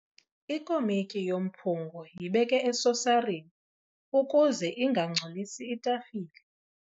Ikomityi yomphungo yibeke esosarini ukuze ingangcolisi itafile.